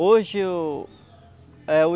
Hoje o é o